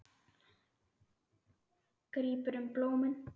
Grípur um blómin.